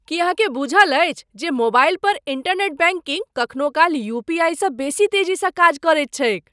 की अहाँकेँ बूझल अछि जे मोबाइल पर इंटरनेट बैंकिंग कखनो काल यूपीआईसँ बेसी तेजी स काज करैत छैक?